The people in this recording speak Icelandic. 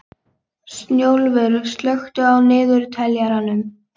Snjólfur, slökktu á niðurteljaranum.